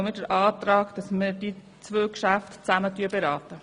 Deshalb stellen wir den Antrag, die beiden Geschäfte gemeinsam zu beraten.